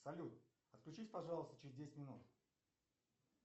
салют отключись пожалуйста через десять минут